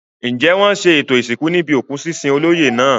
Ǹjẹ́ wọn ṣe ètò ìsìnkú níbi òkú sísin olóyè náà?